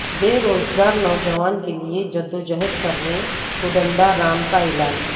بیروزگار نوجوانوں کیلئے جدوجہد کرنے کودنڈا رام کا اعلان